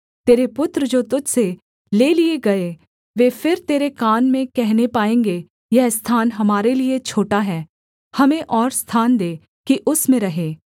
तेरे पुत्र जो तुझ से ले लिए गए वे फिर तेरे कान में कहने पाएँगे यह स्थान हमारे लिये छोटा है हमें और स्थान दे कि उसमें रहें